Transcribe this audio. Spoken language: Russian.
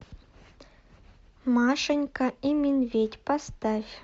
машенька и медведь поставь